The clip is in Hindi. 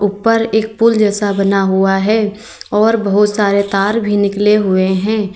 उपर एक फूल जैसा बना हुआ है और बहोत सारे तार भी निकले हुए हैं।